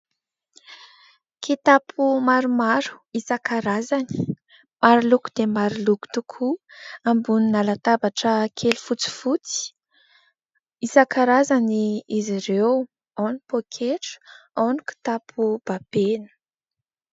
Kitapo maromaro isan-karazany. Maroloko dia maroloko tokoa ambonina latabatra kely fotsifotsy, isan-karazany izy ireo, ao ny poaketra, ao ny kitapo babena.